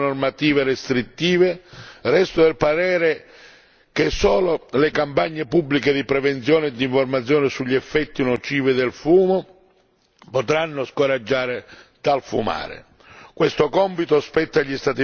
Al di là però delle disposizioni normative restrittive, resto del parere che solo le campagne pubbliche di prevenzione e di informazione sugli effetti nocivi del fumo potranno scoraggiare dal fumare.